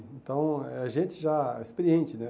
Então, é gente já experiente, né?